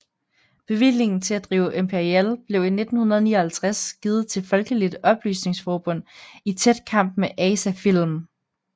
Bevillingen til at drive Imperial blev i 1959 givet til Folkeligt Oplysningsforbund i tæt kamp med ASA Film